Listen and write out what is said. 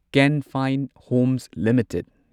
can Fin Homes limited